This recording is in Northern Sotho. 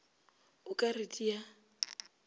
o ka re di a